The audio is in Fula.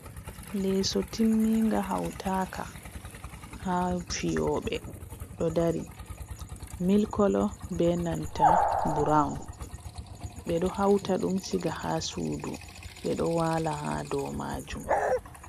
Leso timminga hautaaka ha fiyoɓe, ɗo dari mil kolo be nanta brawn, ɓe ɗo hauta ɗum siga ha suudu, ɓe ɗo wala ha dow majum.